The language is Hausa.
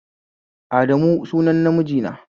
Adamu sunan namiji na